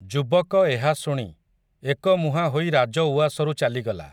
ଯୁବକ ଏହାଶୁଣି, ଏକମୁହାଁ ହୋଇ ରାଜଉଆସରୁ ଚାଲିଗଲା ।